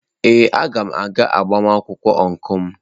Ee, a ga m aga agbamakwụkwọ ọncụl.